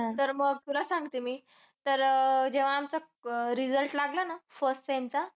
तर मग तुला सांगते मी तर अह जेव्हा आमचा अह result लागला ना First sem चा